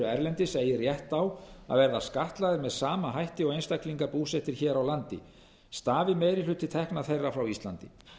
erlendis eigi rétt á að verða skattlagðir með sama hætti og einstaklingar búsettir hér á landi stafi meiri hluti tekna þeirra frá íslandi